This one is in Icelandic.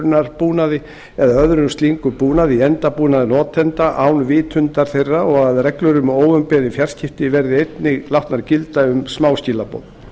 njósnahugbúnaði vefhlerunarbúnaði eða öðrum slíkum búnaði í endabúnaði notenda án vitundar þeirra og að reglur um óumbeðin fjarskipti verði einnig látnar gilda um smáskilaboð